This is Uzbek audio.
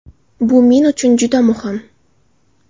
Bu men uchun juda muhim.